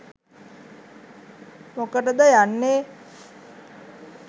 මොකටද යන්නේ